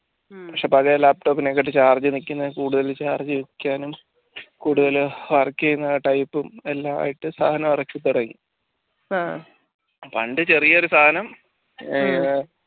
പക്ഷേ പഴയ laptop നെക്കാളും charge നിൽക്കുക കൂടുതൽ charge നിൽക്കാൻ കൂടുതൽ work ചെയ്യുന്ന type എല്ലാമായിട്ട് സാനം ഇറക്കി തുടങ്ങി പണ്ട് ചെറിയൊരു സാധനം